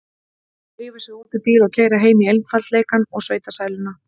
Drífa sig út í bíl og keyra heim í einfaldleikann og sveitasæluna.